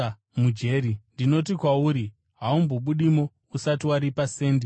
Ndinoti kwauri, haungabudimo usati waripa sendi rokupedzisira.”